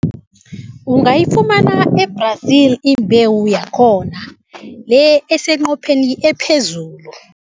Ungayifumana e-Brazil imbewu yakhona, le eseqopheleni ephezulu.